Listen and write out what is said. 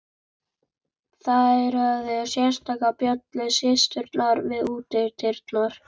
Þær höfðu sérstaka bjöllu, systurnar, við útidyrnar.